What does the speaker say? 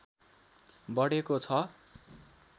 बढेको छ